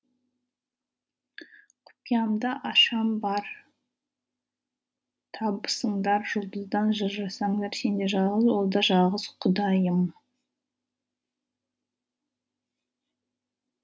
құпиямды ашам бар табысыңдар жұлдыздан жыр жасаңдар сен де жалғыз ол да жалғыз құдайым